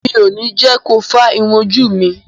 Mi ò ní jẹ́ ko fá irun ojú mi.